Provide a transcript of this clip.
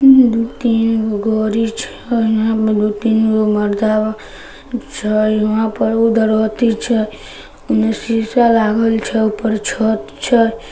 इहा दु तीन गो गाड़ी छै इहा पे दु तीन गो मर्दवा छै वहां पर उधर अथी छै उन्ने शीशा लागल छै ऊपर छत छै।